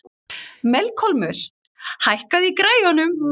Melkólmur, hækkaðu í græjunum.